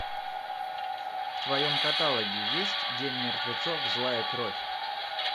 в твоем каталоге есть день мертвецов злая кровь